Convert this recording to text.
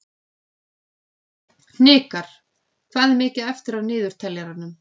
Hnikarr, hvað er mikið eftir af niðurteljaranum?